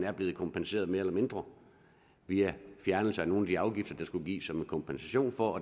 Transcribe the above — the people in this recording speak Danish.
er blevet kompenseret mere eller mindre via en fjernelse af nogle af de afgifter der skulle gives som en kompensation og